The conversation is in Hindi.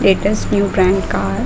latest new trend car --